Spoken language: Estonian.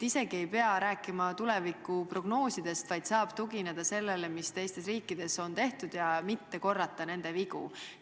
Isegi ei pea rääkima tulevikuprognoosidest, vaid saab tugineda sellele, mis teistes riikides on tehtud, ja mitte korrata nende vigu.